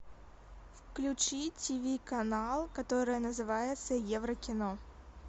включи тиви канал который называется еврокино